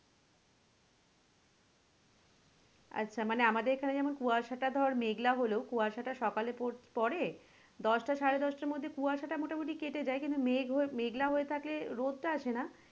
আচ্ছা আমাদের এখানে যেমন কুয়াশা টা ধর মেঘলা হলেও কুয়াশা টা সকালে পর~পড়ে দশটা সাড়ে দশটার মধ্যে কুয়াশা টা মোটামটি কেটে যায় কিন্তু মেঘ হয়ে মেঘলা হয়ে থাকে রোদ টা আসেনা,